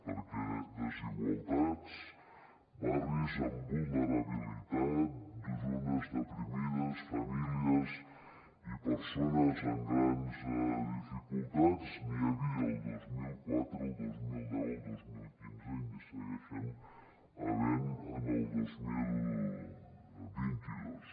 perquè desigualtats barris en vulnerabilitat zones deprimides famílies i persones amb grans dificultats n’hi havia el dos mil quatre el dos mil deu i el dos mil quinze i n’hi segueixen havent el dos mil vint dos